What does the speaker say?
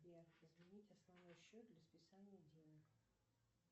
сбер изменить основной счет для списания денег